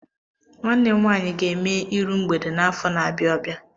Nwanne m nwaanyị ga-eme iru mgbede n'afọ na-abịa abịa.